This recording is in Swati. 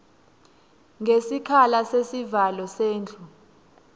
ngesikhala sesivalo sendlu